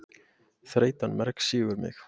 Þreytan mergsýgur mig.